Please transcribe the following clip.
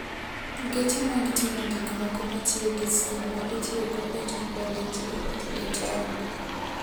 Geche mag ting'o gik moko matiyo gi stima itiyogo e chopo ne ji e taonde.